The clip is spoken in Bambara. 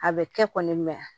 A bɛ kɛ kɔni